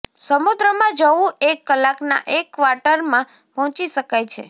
સમુદ્રમાં જવું એક કલાકના એક ક્વાર્ટરમાં પહોંચી શકાય છે